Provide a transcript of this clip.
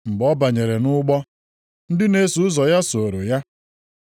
Mgbe ọ banyere nʼụgbọ, ndị na-eso ụzọ ya sooro ya.